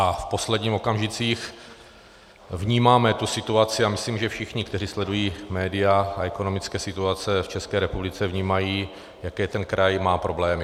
A v posledních okamžicích vnímáme tu situaci, a myslím, že všichni, kteří sledují média a ekonomické situace v České republice vnímají, jaké ten kraj má problémy.